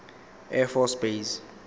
air force base